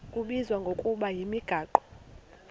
kubizwa ngokuba yimigaqo